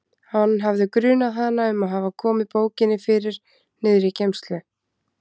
Hann hafði grunað hana um að hafa komið bókinni fyrir niðri í geymslu.